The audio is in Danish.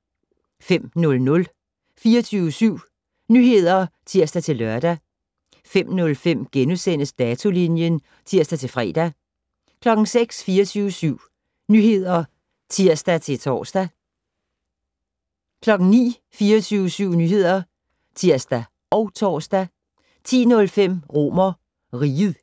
05:00: 24syv Nyheder (tir-lør) 05:05: Datolinjen *(tir-fre) 06:00: 24syv Nyheder (tir-tor) 09:00: 24syv Nyheder (tir og tor) 10:05: RomerRiget